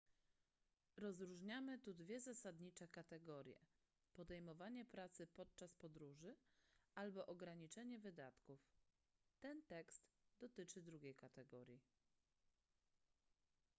rozróżniamy tu dwie zasadnicze kategorie podejmowanie pracy podczas podróży albo ograniczenie wydatków ten tekst dotyczy drugiej kategorii